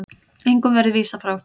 Engum verði vísað frá.